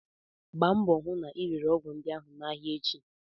Gbaa mbọ hụ na ị rere ọgwụ ndị ahụ n'ahịa echi!